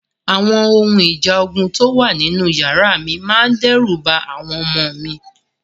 Àwọn ohun ìjà ogun tó wà nínú yàrá mi máa dẹ́rù ba àwọn ọmọ mi.